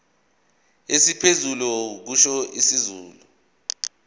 esiphezulu kusho isikhulu